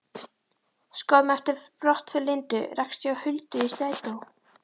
Skömmu eftir brottför Lindu rakst ég á Huldu í strætó.